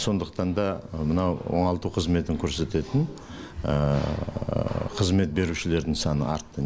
сондықтан да мынау оңалту қызметін көрсететін қызмет берушілердің саны артты